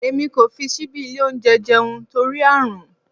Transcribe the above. Èmi kò fi síbí ilé oúnjẹ jẹun torí Ààrùn.